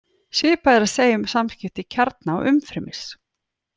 Svipað er að segja um samskipti kjarna og umfrymis.